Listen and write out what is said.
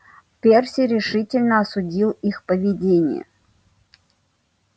перси решительно осудил их поведение